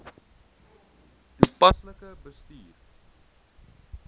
toepaslik bestuur